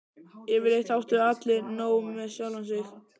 Yfirleitt áttu allir nóg með sjálfa sig.